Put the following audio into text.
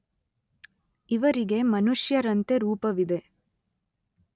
ಇವರಿಗೆ ಮನುಷ್ಯರಂತೆ ರೂಪವಿದೆ.